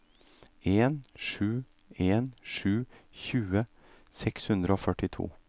en sju en sju tjue seks hundre og førtito